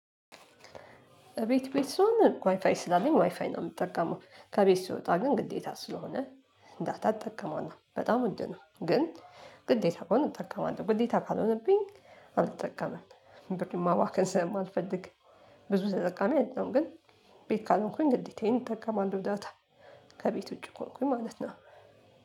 እቤት ቤት ስሆን ዋይፋይ ስላለኝ ዋይፋይ ነው የምጠቀመው ከቤት ስወጣ ግን ግዴታ ስለሆነ ዳታ እጠቀማለው በጣም ውድ ነው። ግን ግዴታ ከሆነ እጠቀማለሁ ግዴታ ካልሆነብኝ አልጠቀምም። ብር ማባከን ስለማልፈልግ ብዙ ተጠቃሚ አይደለም። ግን ቤት ካልሆንኩኝ ግዴታዬን እጠቀማለው ዳታ ከቤት ውጪ ከሆንኩኝ ማለት ነው።